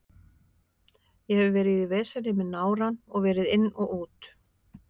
Ég hef verið í veseni með nárann og verið inn og út.